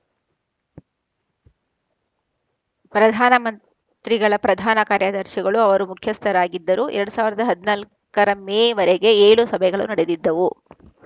ಪ್ರಧಾನಮಂತ್ರಿಗಳ ಪ್ರಧಾನ ಕಾರ್ಯದರ್ಶಿಗಳು ಅದರ ಮುಖ್ಯಸ್ಥರಾಗಿದ್ದರು ಎರಡ್ ಸಾವಿರದ ಹದಿನಾಲ್ಕರ ಮೇವರೆಗೆ ಏಳು ಸಭೆಗಳು ನಡೆದಿದ್ದವು